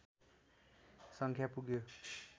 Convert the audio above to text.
सङ्ख्या पुग्यो